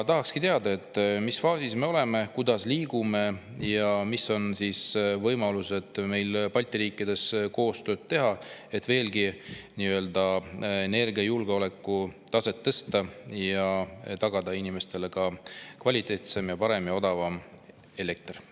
Tahakski teada, mis faasis me oleme, kuidas liigume ja mis võimalused on meil Balti riikidega koostööd teha, et veelgi energiajulgeoleku nii-öelda taset tõsta ja tagada inimestele kvaliteetsem, parem ja odavam elekter.